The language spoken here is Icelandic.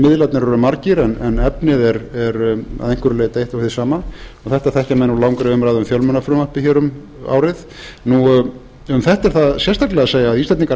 miðlarnir eru margir er efnið er að einhverju leyti eitt og hið sama og þetta þekkja menn úr langri umræðu um fjölmiðlafrumvarpið hér um árið um þetta er það sérstaklega að segja